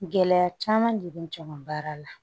Gɛlɛya caman de bɛ n jɛ baara la